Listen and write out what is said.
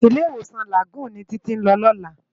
Ilé-Iwósán Lágùn ni Titi n lò lòlá